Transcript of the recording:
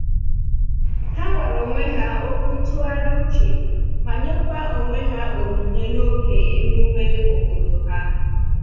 Ha gwara onwe ha okwu ntụgharị uche ma nyekwa onwe ha onyinye n'oge emume obodo ha